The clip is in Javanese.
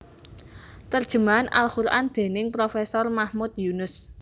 Terjemah al Quran dening Profesor Mahmud Yunus